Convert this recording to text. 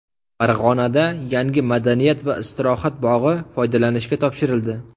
Farg‘onada yangi madaniyat va istirohat bog‘i foydalanishga topshirildi .